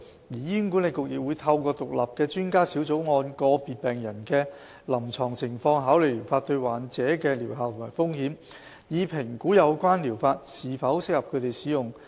醫管局亦會透過獨立的專家小組，按個別病人的臨床情況考慮療法對患者的療效和風險，以評估有關療法是否適合他們使用。